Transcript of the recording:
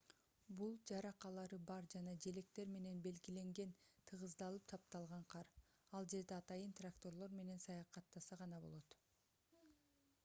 бул жаракалары бар жана желектер менен белгиленген тыгыздалып тапталган кар ал жерде атайын тракторлор менен саякаттаса гана болот